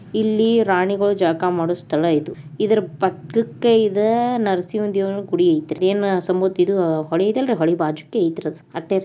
ಇಲ್ಲಿ ರಾಣಿಗಳು ಜಳಕ ಮಾಡೋ ಸ್ಥಳ ಇದು. ಇದರ ಪಕ್ಕಕ್ಕೆ ಇದ ನರಸಿಂಹ ದೇವ್ನ ಗುಡಿ ಐತ್ರಿ ಯೇನ ಸಮು ಹೋಳಿ ಐತಾಲ್ರಿ ಹೋಳಿ ಬಾಜುಕೆ ಐತ್ರಿ ಅದ್